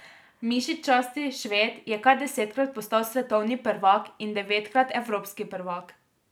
Mišičasti Šved je kar desetkrat postal svetovni prvak in devetkrat evropski prvak.